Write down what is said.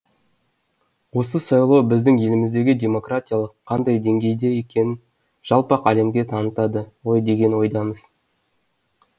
осы сайлау біздің еліміздегі демократиялық қандай деңгейде екенін жалпақ әлемге танытады ғой деген ойдамыз